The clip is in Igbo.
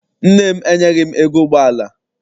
Nne m enyeghi m ego ụgbọala.